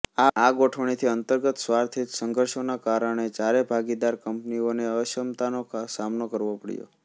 આ ગોઠવણીથી અંતર્ગત સ્વાર્થહિત સંઘર્ષોનાં કારણે ચારે ભાગીદાર કંપનીઓને અક્ષમતાનો સામનો કરવો પડ્યો